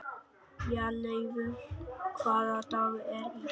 Bjarnleifur, hvaða dagur er í dag?